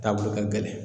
Taabolo ka gɛlɛn